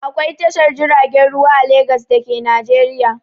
Akwai Tashar jiragen ruwa a Legas da ke Najeriya.